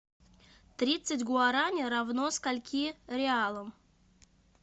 тридцать гуарани равно скольки реалам